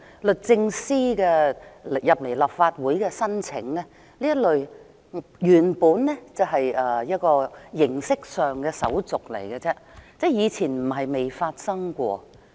律政司向立法會提出的這項申請，原本只是形式上的手續而已，以前不是未發生過。